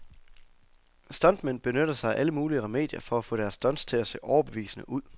Stuntmænd benytter sig af alle mulige remedier for at få deres stunts til at se overbevisende ud.